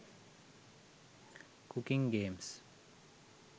cooking games